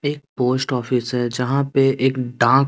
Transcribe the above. एक post office है यहां पे एक डाक--